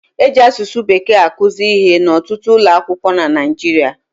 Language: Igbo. E ji asụsụ Bekee akụzi ihe n'ọtụtụ ụlọ akwụkwọ na Naịjirịa